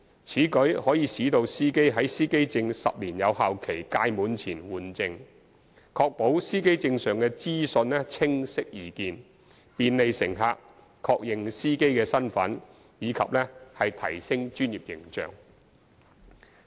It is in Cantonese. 此舉可使司機在司機證10年有效期屆滿前換證，確保司機證上的資訊清晰易見，便利乘客確認司機身份及提升專業形象。